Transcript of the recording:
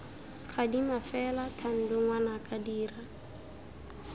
gadima fela thando ngwanaka dira